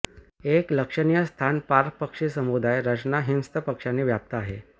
एक लक्षणीय स्थान पार्क पक्षी समुदाय रचना हिंस्र पक्ष्यांनी व्याप्त आहे